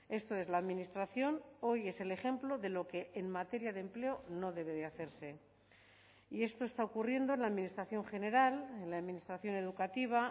esto es la administración hoy es el ejemplo de lo que en materia de empleo no debe de hacerse y esto está ocurriendo en la administración general en la administración educativa